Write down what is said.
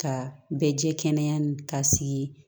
Ka bɛ jɛ kɛnɛya ni ka sigi